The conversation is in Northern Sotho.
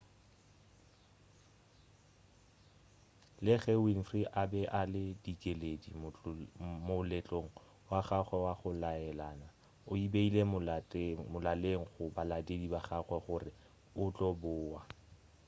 le ge winfrey a be a le dikeledi moletlong wa gagwe wa go laelana o e beile molaleng go balatedi ba gagwe gore o tlo boa